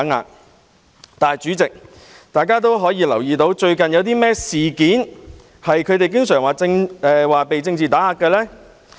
然而，代理主席，大家均留意到，最近有甚麼事件是他們經常說成被政治打壓呢？